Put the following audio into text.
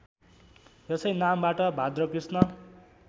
यसै नामबाट भाद्रकृष्ण